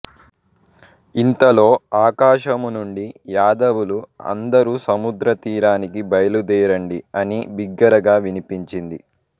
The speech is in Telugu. ఇంతలో ఆకాశము నుండి యాదవులు అందరూ సముద్రతీరానికి బయలుదేరండి అని బిగ్గరగా వినిపించింది